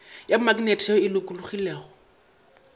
ya maknete ye e lokologilego